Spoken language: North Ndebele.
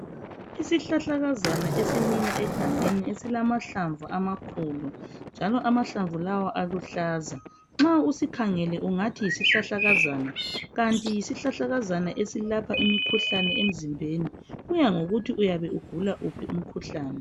Isihlahlakazana esimila egangeni esilamahlamvu amakhulu njalo amahlamvu lawa aluhlaza nxa usikhangele ungathi yisihlahlakazana kanti yisihlahlakazana esilapha imikhuhlane emzimbeni kuya ngokuthi uyabe ugula wuphi umkhuhlane.